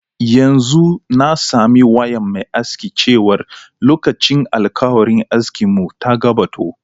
Yanzu na sami wayan mai aski chewar lokacin alkawarin aski mun ta gabato.